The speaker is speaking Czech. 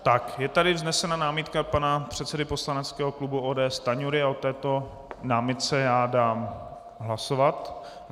Tak je tady vznesena námitka pana předsedy poslaneckého klubu ODS Stanjury a o této námitce já dám hlasovat.